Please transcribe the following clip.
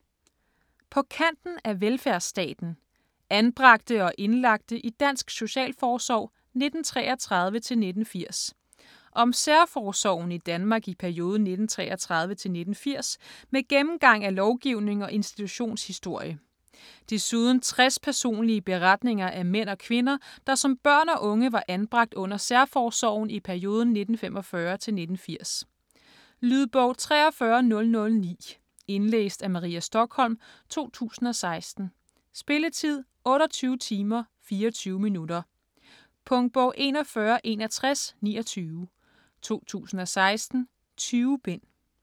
På kanten af velfærdsstaten: anbragte og indlagte i dansk socialforsorg 1933-1980 Om særforsorgen i Danmark i perioden 1933-1980 med gennemgang af lovgivning og institutionshistorie. Desuden 60 personlige beretninger af mænd og kvinder, der som børn og unge var anbragt under særforsorgen i perioden 1945-1980. Lydbog 43009 Indlæst af Maria Stokholm, 2016. Spilletid: 28 timer, 24 minutter. Punktbog 416129 2016. 20 bind.